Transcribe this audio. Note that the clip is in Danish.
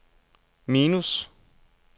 minus